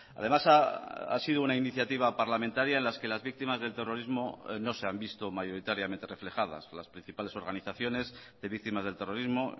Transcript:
además ha sido una iniciativa parlamentaria en las que las víctimas del terrorismo no se han visto mayoritariamente reflejadas las principales organizaciones de víctimas del terrorismo